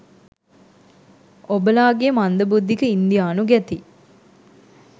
ඔබලාගේ මන්ද බුද්ධික ඉන්දියානු ගැති